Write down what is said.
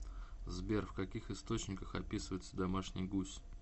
сбер в каких источниках описывается домашний гусь